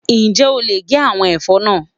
Ǹjẹ́ o lè gé àwọn ẹ̀fọ́ náà?